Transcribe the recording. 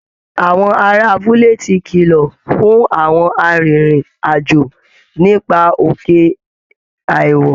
Àwọn ará abúlé ti kìlọ̀ fún àwọn arìnrìn-àjò nípa òkè àìwọ̀